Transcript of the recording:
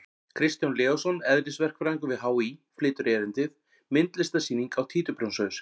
Kristján Leósson, eðlisverkfræðingur við HÍ, flytur erindið: Myndlistarsýning á títuprjónshaus!